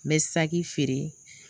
N bɛ saki fɛɛrɛ,